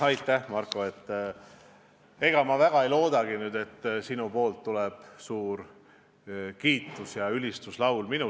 Aitäh, Marko, ega ma ei loodagi, et sinu suust kõlab minu kiitmiseks ülistuslaul.